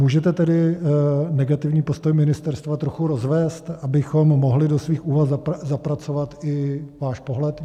Můžete tedy negativní postoj ministerstva trochu rozvést, abychom mohli do svých úvah zapracovat i váš pohled?